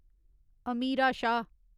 Amira Shah